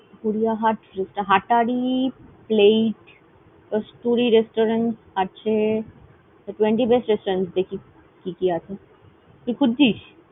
Gariahat Hatari plate, Kasturi Restaurant আছে। twenty best restaurant দেখি কি কি আছে তুই খুচ্ছিস?